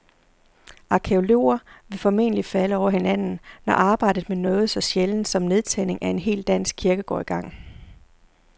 Arkæologer vil formentlig falde over hinanden, når arbejdet med noget så sjældent som nedtagning af en hel dansk kirke går i gang.